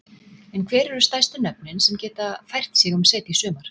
En hver eru stærstu nöfnin sem geta fært sig um set í sumar?